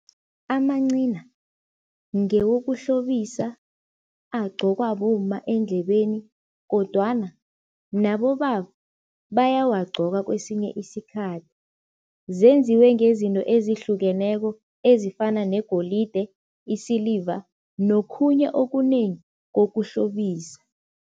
Amancina ngewokuhlobisa, agcokwa bomma endlebeni kodwana nabobaba bayawagcoka kwesinye isikhathi. Zenziwe ngezinto ezihlukeneko ezifana negolide, isiliva nokhunye okunengi kokuhlobisa.